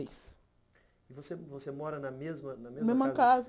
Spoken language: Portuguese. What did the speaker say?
Mas você você mora na mesma na mesma casa? Mesma casa